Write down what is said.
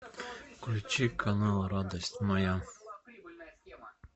включи канал радость моя